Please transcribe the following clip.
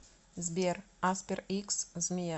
сбер аспер икс змея